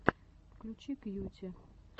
включи кьюти